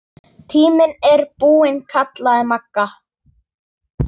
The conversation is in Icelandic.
Tíminn er búinn kallaði Magga.